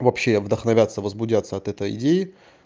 вообще вдохновятся возбудятся от этой идеи